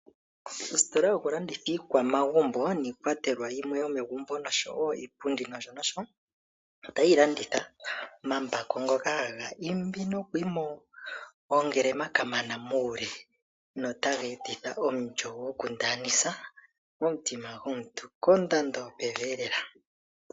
Oositola dhokulanditha iikwamagumbo niikwatelwa yimwe yomegumbo nosho wo iipundi nosho nosho, otayi landitha omambako ngoka haga imbi noku imba oongelema kamana muule, notaga etitha omulyo gwokundanisa momutima gomuntu kondando yopevi elela.